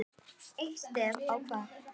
Eitt stef ég kvað.